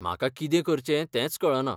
म्हाका कितें करचें तेंच कळना.